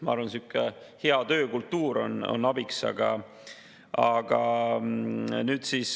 Ma arvan, et hea töökultuur on abiks.